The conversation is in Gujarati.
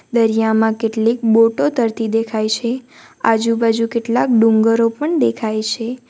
દરિયામાં કેટલીક બોટો તરતી દેખાય છે આજુબાજુ કેટલાક ડુંગરો પણ દેખાય છે.